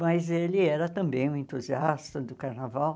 Mas ele era também um entusiasta do carnaval.